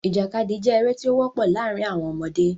Ìjàkadì jẹ́ eré tí ó wọ́pọ̀ láàrin àwọn ọmọdé.